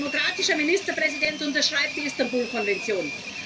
Ein demokratischer Ministerpräsident unterschreibt die Istanbul Konvention.